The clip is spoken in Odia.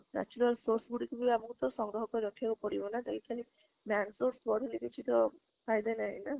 natural source ଗୁଡିକ ବି ତ ଆମକୁ ସଂଗ୍ରହ କରିକି ରଖିବାକୁ ପଡିବ ନା ଏଇଠି ଖାଲି man force ବଢେଇଲେ କିଛି ତ ନାହିଁ ନା?